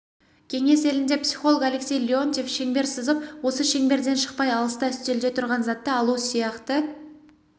кеңес елінде психолог алексей леонтьев шеңбер сызып осы шеңберден шықпай алыста үстелде тұрған затты алу сияқты